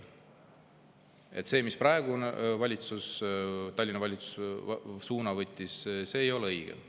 See suund, mille praegune Tallinna valitsus võttis, ei ole õige.